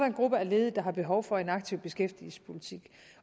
en gruppe af ledige der har behov for en aktiv beskæftigelsespolitik